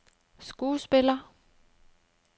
skuespiller